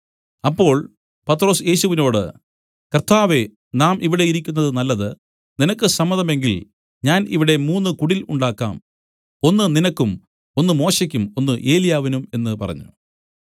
അപ്പോൾ പത്രൊസ് യേശുവിനോടു കർത്താവേ നാം ഇവിടെ ഇരിക്കുന്നത് നല്ലത് നിനക്ക് സമ്മതമെങ്കിൽ ഞാൻ ഇവിടെ മൂന്നു കുടിൽ ഉണ്ടാക്കാം ഒന്ന് നിനക്കും ഒന്ന് മോശെക്കും ഒന്ന് ഏലിയാവിനും എന്നു പറഞ്ഞു